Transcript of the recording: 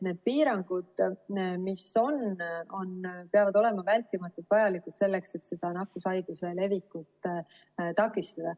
Need piirangud, mis on, peavad olema vältimatult vajalikud selleks, et nakkushaiguse leviku takistada.